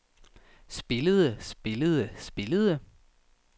spillede spillede spillede